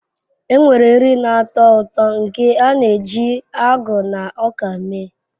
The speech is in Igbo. Enwere nri na-atọ ụtọ nke a na-eji agụ na ọka mee.